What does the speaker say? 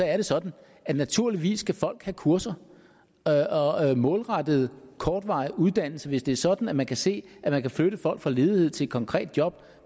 er det sådan at naturligvis skal folk have kurser målrettede kortvarige uddannelser hvis det er sådan at man kan se at man kan flytte folk fra ledighed til et konkret job